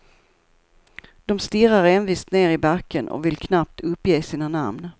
De stirrar envist ner i backen och vill knappt uppge sina namn.